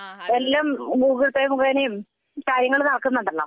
എല്ലാം Google Pay മുഖേനയും കാര്യങ്ങൾ നടക്കുന്നുണ്ടല്ലോ